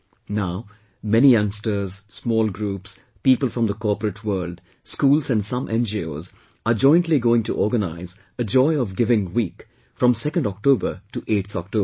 Now, many youngsters, small groups, people from the corporate world, schools and some NGOs are jointly going to organize 'Joy of Giving Week' from 2nd October to 8th October